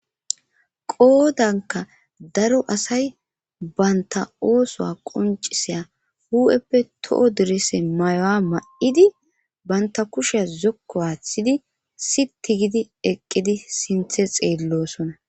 qoodanka daro asay banta oosuwa qoncisaya hu'eppe toho direse may'uwa ma'idi banta kushea zokko aaththidi siti gidi eqqidi sinthe xeellosona